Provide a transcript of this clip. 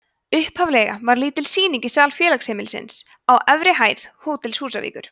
upphaflega var lítil sýning í sal félagsheimilisins á efri hæð hótels húsavíkur